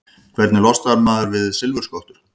Hvernig losnar maður við silfurskottur?